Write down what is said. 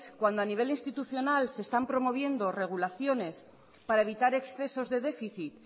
cuando a nivel institucional se están promoviendo regulaciones para evitar excesos de déficit